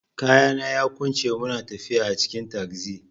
Kayana yaƙunce muna tafiya a cikin tagzi.